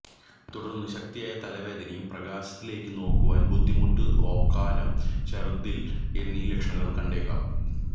തുടർന്ന് ശക്തിയായ തലവേദനയും പ്രകാശത്തിലേക്കു നോക്കുവാൻ ബുദ്ധിമുട്ട് ഓക്കാനം ഛർദ്ദിൽ എന്നീ ലക്ഷണങ്ങൾ കണ്ടേക്കാം